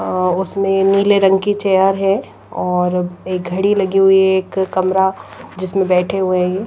उसमें नीले रंग की चेयर है और एक घड़ी लगी हुई है एक कमरा जिसमें बैठे हुए हैं।